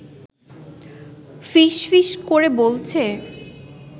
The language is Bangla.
ফিসফিস করে বলছে